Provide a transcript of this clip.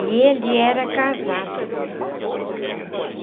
E ele era casado. Hum.